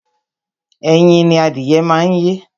Ẹyin ni adìyẹ má ń yé